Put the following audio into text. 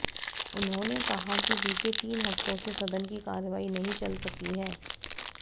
उन्होंने कहा कि बीते तीन हफ्तों से सदन की कार्यवाही नहीं चल सकी है